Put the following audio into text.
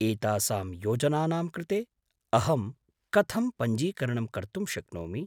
एतासां योजनानां कृते अहं कथं पञ्जीकरणं कर्तुं शक्नोमि?